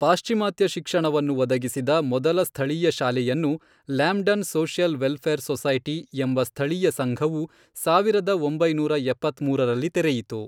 ಪಾಶ್ಚಿಮಾತ್ಯ ಶಿಕ್ಷಣವನ್ನು ಒದಗಿಸಿದ ಮೊದಲ ಸ್ಥಳೀಯ ಶಾಲೆಯನ್ನು, ಲ್ಯಾಮ್ಡನ್ ಸೋಶಿಯಲ್ ವೆಲ್ಫೇರ್ ಸೊಸೈಟಿ, ಎಂಬ ಸ್ಥಳೀಯ ಸಂಘವು ಸಾವಿರದ ಒಂಬೈನೂರ ಎಪ್ಪತ್ಮೂರರಲ್ಲಿ ತೆರೆಯಿತು.